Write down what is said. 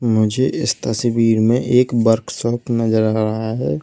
मुझे इस तस्वीर में एक वर्कशॉप नजर आ रहा है।